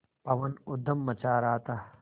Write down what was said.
पवन ऊधम मचा रहा था